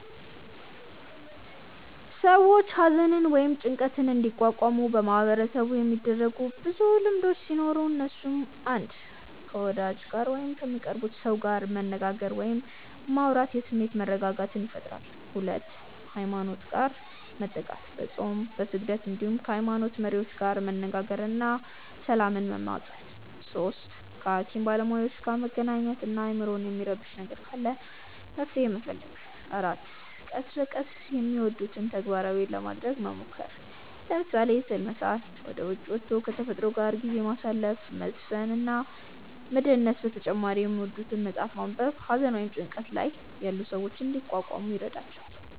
ሰዎች ሃዘንን ወይም ጭንቀትን እንዲቋቋሙ በማህበረሰቡ የሚደረጉ ብዙ ልምዶቹ ሲኖሩ እነሱም፣ 1. ከ ወዳጅ ጋር ወይም ከሚቀርቡት ሰው ጋር መነጋገር ወይም ማውራት የስሜት መረጋጋትን ይፈጥራል 2. ሃይማኖት ጋር መጠጋት፦ በፆም፣ በስግደት እንዲሁም ከ ሃይሞኖት መሪዎች ጋር መነጋገር እና ሰላምን መማፀን 3. ከ ሃኪም ባለሞያዎች ጋር መገናኘት እና አይምሮን የሚረብሽ ነገር ካለ መፍትሔ መፈለግ 4. ቀስ በቀስ የሚወዱትን ተግባራት ለማረግ መሞከር፤ ለምሳሌ፦ ስዕል መሳል፣ ወደ ዉጪ ወቶ ከ ተፈጥሮ ጋር ጊዜ ማሳለፍ፣ መዝፈን እና መደነስ በተጨማሪ የሚወዱትን መፅሐፍ ማንበብ ሃዘን ወይም ጭንቀት ላይ ያሉ ሰዎችን እንዲቋቋሙ ይረዷቸዋል።